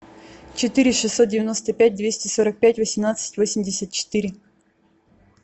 четыре шестьсот девяносто пять двести сорок пять восемнадцать восемьдесят четыре